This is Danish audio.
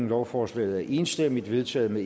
lovforslaget er enstemmigt vedtaget med